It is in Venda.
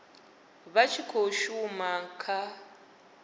vha tshi khou shuma kha